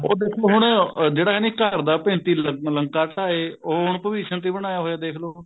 ਉਹ ਦੇਖੋ ਹੁਣ ਜਿਹੜਾ ਹੈਨੀ ਘਰ ਦਾ ਭੇਤੀ ਲੰਕਾ ਢਾਹੇ ਉਹ ਹੁਣ ਭਵਿਸ਼ਣ ਤੇ ਹੀ ਬਣਾਇਆ ਦੇਖਲੋ